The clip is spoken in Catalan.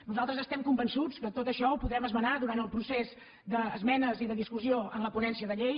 nosaltres estem convençuts que tot això ho podrem esmenar durant el procés d’esmenes i de discussió en la ponència de llei